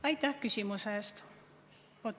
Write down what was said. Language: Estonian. Aitäh küsimuse eest!